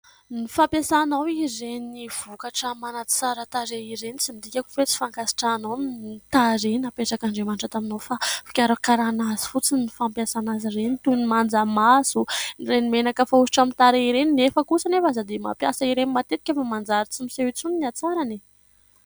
Ny fampiasanao ireny vokatra manatsara tarehy ireny, tsy midika akory hoe tsy fankasitrahanao ny tarehy napetrak'Andriamanitra taminao fa fikarakarana azy fotsiny ny fampiasana azy ireny toy ny manja maso, ireny menaka fanosotra amin'ny tarehy, ireny nefa kosa anefa aza dia mampiasa ireny matetika fa manjary tsy miseho intsony ny hatsarany e !